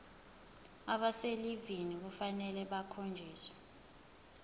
abaselivini kufanele bakhonjiswe